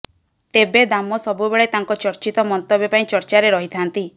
ତେବେ ଦାମ ସବୁବେଳେ ତାଙ୍କ ଚର୍ଚ୍ଚିତ ମନ୍ତବ୍ୟ ପାଇଁ ଚର୍ଚ୍ଚାରେ ରହିଥାନ୍ତି